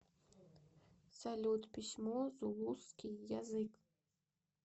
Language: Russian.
салют письмо зулусский язык